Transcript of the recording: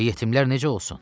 Və yetimlər necə olsun?